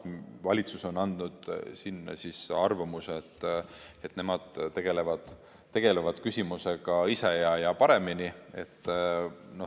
Valitsus on andnud selle kohta arvamuse, et nemad tegelevad küsimusega ise ja paremini.